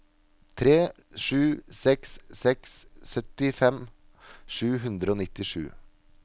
tre sju seks seks syttifem sju hundre og nittisju